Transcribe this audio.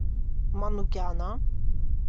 манукяна